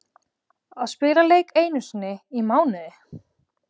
Að spila leik einu sinni í mánuði?